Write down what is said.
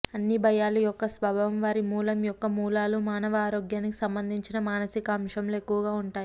అన్ని భయాలు యొక్క స్వభావం వారి మూలం యొక్క మూలాలు మానవ ఆరోగ్యానికి సంబంధించిన మానసిక అంశంలో ఎక్కువగా ఉంటాయి